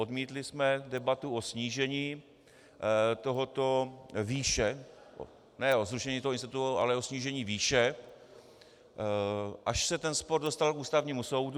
Odmítli jsme debatu o snížení této výše, ne o zrušení toho institutu, ale o snížení výše, až se ten spor dostal k Ústavnímu soudu.